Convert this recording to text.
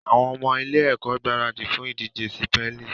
Àwọn ọmọ ilé-ẹ̀kọ́ ń gbaradì fún ìdíje sípẹ́lì